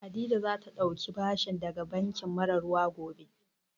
Hadiza za ta ɗauki bashi daga banki mara ruwa gobe